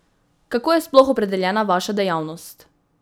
Kako je sploh opredeljena vaša dejavnost?